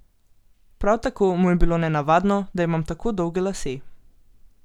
Prav tako mu je bilo nenavadno, da imam tako dolge lase.